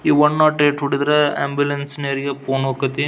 ಈ one nought eight ಹುಡಿದ್ರ ambulance ನವರಿಗೆ ಫೋನ್ ಹೊಕತಿ.